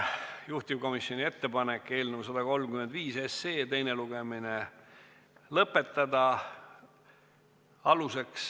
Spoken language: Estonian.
Juhtivkomisjoni ettepanek on eelnõu 135 teine lugemine lõpetada.